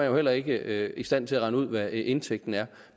jo heller ikke i stand til at regne ud hvad indtægten er